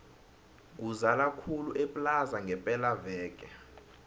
kuzala khulu eplaza ngepela veke